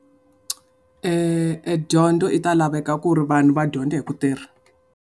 E dyondzo yi ta laveka ku ri vanhu va dyondza hi ku tirha.